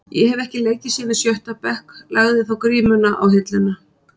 Ég hef ekki leikið síðan í sjötta bekk, lagði þá grímuna á hilluna.